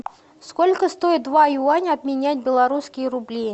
сколько стоит два юаня обменять в белорусские рубли